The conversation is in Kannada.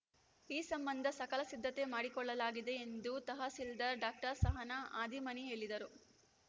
ಈ ಸಂಬಂಧ ಸಕಲ ಸಿದ್ಧತೆ ಮಾಡಿಕೊಳ್ಳಲಾಗಿದೆ ಎಂದು ತಹಸೀಲ್ದಾರ್‌ ಡಾಕ್ಟರ್ ಸಹನಾ ಹಾದಿಮನಿ ಹೇಳಿದರು